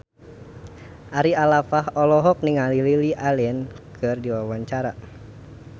Ari Alfalah olohok ningali Lily Allen keur diwawancara